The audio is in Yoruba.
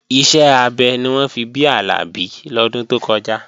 Iṣẹ́ abẹ ni wọ́n fi bí Àlàbí lọ́dún tó kọjá